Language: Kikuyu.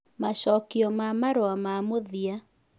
Macokio ma Marũa ma Mũthia